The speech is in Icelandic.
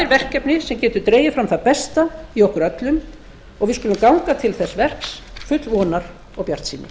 verkefni sem getur dregið fram það besta í okkur öllum og við skulum ganga til þess verks full vonar og bjartsýni